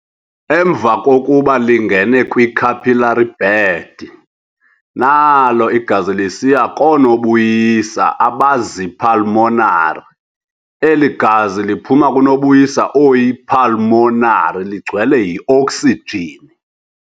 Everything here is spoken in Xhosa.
Emva kokuba lingene kwi-capillary bed, nalo igazi lisiya koo-nobuyisa abazii-pulmonary Eli gazi liphuma kunobuyisa oyi-"pulmonary ligcwele yi-oksijin".